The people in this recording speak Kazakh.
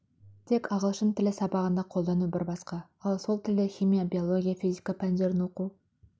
тек ағылшын тілі сабағында қолдану бір басқа ал сол тілде химия биология физика пәндерін оқу